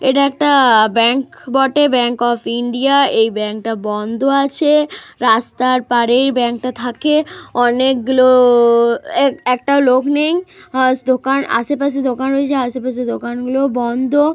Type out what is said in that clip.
এটা একটা ব্যাংক বটে। Bank of India. এই ব্যাঙ্কটা বন্ধ আছে। রাস্তার পাড়ের ব্যাংকে থাকে। অনেকগুলো একটা লোক নেই। আজ দোকান আশেপাশের দোকান রয়েছে আশেপাশে দোকানগুলো বন্ধ।